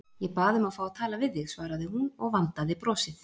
Ég bað um að fá að tala við þig, svaraði hún og vandaði brosið.